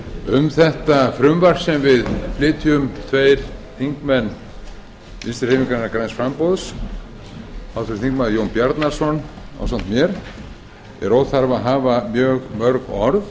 um þetta frumvarp sem við flytjum tveir þingmenn vinstri hreyfingarinnar græns framboðs háttvirtur þingmaður jón bjarnason ásamt mér er óþarfi að hafa mjög mörg orð